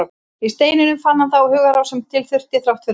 Í steininum fann hann þá hugarró sem til þurfti, þrátt fyrir allt.